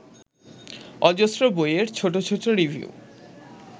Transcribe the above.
অজস্র বইয়ের ছোট ছোট রিভিউ